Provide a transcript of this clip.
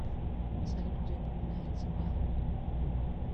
салют где упоминается мел